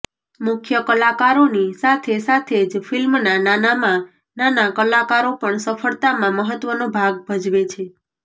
મુખ્ય કલાકારોની સાથે સાથે જ ફિલ્મના નાનામાં નાના કલાકારો પણ સફળતામાં મહત્વનો ભાગ ભજવે છે